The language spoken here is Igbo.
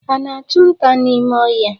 Ha ana-achụ nta n'ime ọhịa?